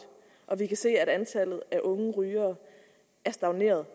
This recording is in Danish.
og vi kan se at antallet af unge rygere er stagneret